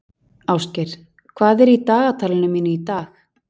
Ásgeir, hvað er í dagatalinu mínu í dag?